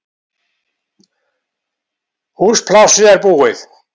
Húsplássið er búið